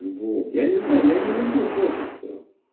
вот я не знаю я не люблю фоткаться